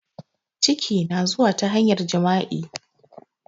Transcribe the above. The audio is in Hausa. Ciki na zuwa ta hanyar jima'i